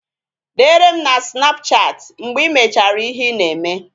Dere m na sinapụchati mgbe I mechara ihe ị na-eme